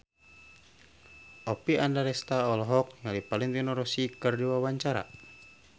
Oppie Andaresta olohok ningali Valentino Rossi keur diwawancara